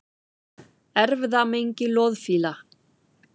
Erfðamengi loðfíla